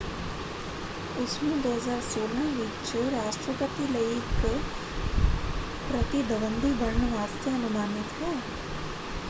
ਉਸਨੂੰ 2016 ਵਿੱਚ ਰਾਸ਼ਟਰਪਤੀ ਲਈ ਇਕ ਪ੍ਰਤਿਦਵੰਦੀ ਬਣਨ ਵਾਸਤੇ ਅਨੁਮਾਨਿਤ ਹੈ।